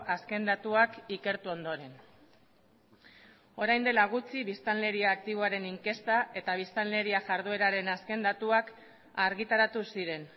azken datuak ikertu ondoren orain dela gutxi biztanleria aktiboaren inkesta eta biztanleria jardueraren azken datuak argitaratu ziren